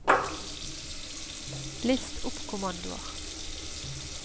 list oppkommandoer